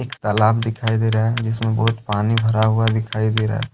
तालाब दिखाई दे रहा है जिसमें बहुत पानी भरा हुआ दिखाई दे रहा है।